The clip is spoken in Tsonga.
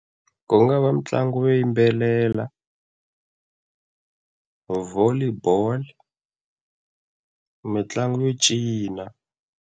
Ku nga va mitlangu yo yimbelela, Volley bolo, mitlangu yo cina.